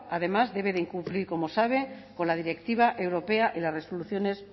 además debe cumplir como sabe con la directiva europea y las resoluciones